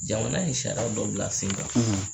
Jamana ye siraya dɔ bila sen kan